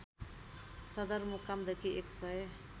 सदरमुकामदेखि १ सय